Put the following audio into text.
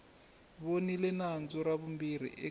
voniwe nandzu ra vumbirhi eka